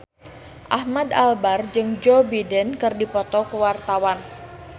Ahmad Albar jeung Joe Biden keur dipoto ku wartawan